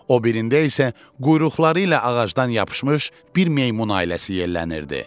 O birində isə quyruqları ilə ağacdan yapışmış bir meymun ailəsi yellənirdi.